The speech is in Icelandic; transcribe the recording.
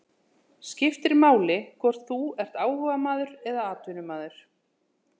Skiptir máli hvort þú ert áhugamaður eða atvinnumaður?